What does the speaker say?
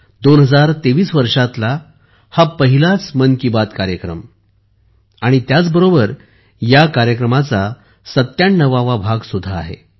2023 वर्षातला हा पहिलाच मन की बात कार्यक्रम आणि त्याचबरोबरया कार्यक्रमाचा सत्त्याण्णववा भाग सुद्धा आहे